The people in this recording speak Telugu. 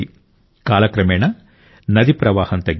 కాలక్రమేణా నది ప్రవాహం తగ్గింది